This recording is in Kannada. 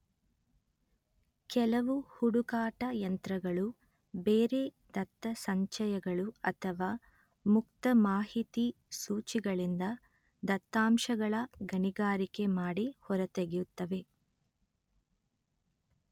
ಕೆಲವು ಹುಡುಕಾಟ ಯಂತ್ರಗಳು ಬೇರೆ ದತ್ತಸಂಚಯಗಳು ಅಥವಾ ಮುಕ್ತ ಮಾಹಿತಿ ಸೂಚಿಗಳಿಂದ ದತ್ತಾಂಶಗಳ ಗಣಿಗಾರಿಕೆ ಮಾಡಿ ಹೊರತೆಗೆಯುತ್ತವೆ